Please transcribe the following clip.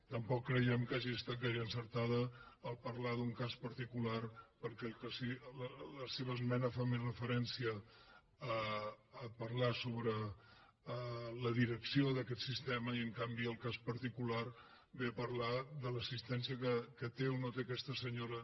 tampoc creiem que hagi estat gaire encertat en parlar d’un cas particular perquè la seva esmena fa més referència a parlar sobre la direcció d’aquest sistema i en canvi el cas particular ve a parlar de l’assistència que té o no té aquesta senyora